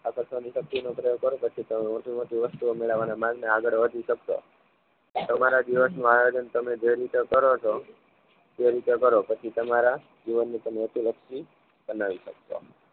આકર્ષવાની શક્તિ નો પ્રોયોગ કરો પછી તમે મોટી મોટી વસ્તુઓ મેળવવાના માર્ગ ને આગળ વધી શકશો તમારા દિવસનું આયોજન તમે જે રીતે કરો છો તે રીતે કરો પછી તમારા જીવનની હેતુ લક્ષી બનાવી શકશો